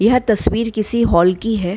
यह तस्वीर किसी हॉल की है।